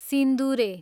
सिन्दुरे